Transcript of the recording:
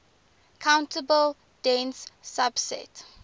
countable dense subset